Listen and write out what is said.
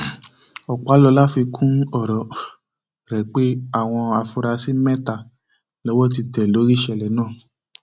um ọpàlọla fi kún ọrọ um rẹ pé àwọn afurasí mẹta lowó ti tẹ lórí ìṣẹlẹ náà